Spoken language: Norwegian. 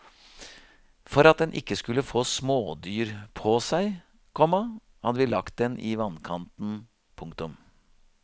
For at den ikke skulle få smådyr på seg, komma hadde vi lagt den i vannkanten. punktum